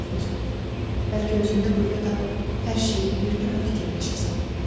Amma Avqust, bəlkə özündə qüvvə tapıb hər şeyi bir daha fikirləşəsən.